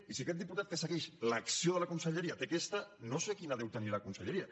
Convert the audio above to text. i si aquest diputat que segueix l’acció de la conselleria té aquesta no sé quina deu tenir la conselleria